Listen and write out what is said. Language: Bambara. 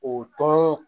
O tɔn